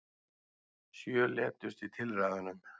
Sjö létust í tilræðunum